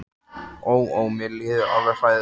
Ó, ó, mér líður alveg hræðilega.